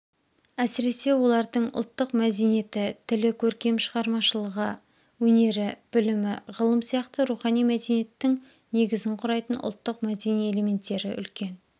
әсіресе олардың ұлттық мәдениеті тілі көркем шығармашылығы өнері білімі ғылым сияқты рухани мәдениеттің негізін құрайтын ұлттық мәдени элементтері үлкен